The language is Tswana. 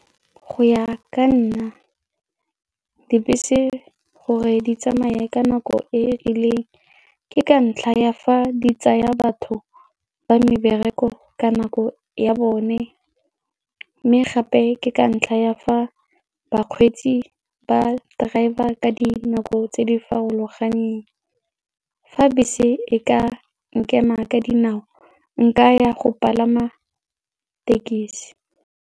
Go ya ka nna, dibese gore di tsamaye ka nako e e rileng ke ka ntlha ya fa di tsaya batho ba mebereko ka nako ya bone mme gape ke ka ntlha ya fa bakgweetsi ba driver ka dinako tse di farologaneng. Fa bese e ka nkema ka dinao, nka ya go palama tekesi.